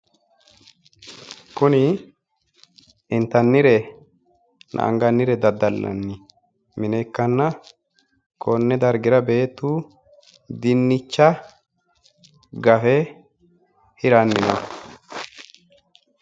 Kuni intannirenna angannire daddallanni mine ikkanna konni dargira beettu dinnicha gafe hirannino